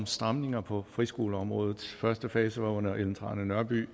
stramninger på friskoleområdet første fase var under fru ellen trane nørby